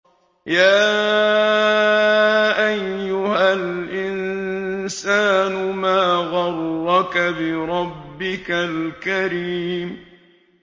يَا أَيُّهَا الْإِنسَانُ مَا غَرَّكَ بِرَبِّكَ الْكَرِيمِ